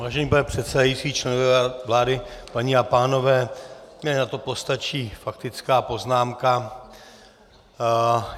Vážený pane předsedající, členové vlády, paní a pánové, mně na to postačí faktická poznámka.